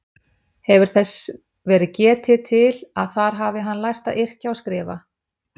Hefur þess verið getið til að þar hafi hann lært að yrkja og skrifa.